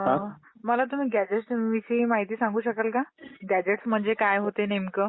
Sir मला election बद्दल चुनाव बद्दल माहिती सांगू शकाल का? माहिती मिळेल का मला तुमच्याकडून थोडीशी?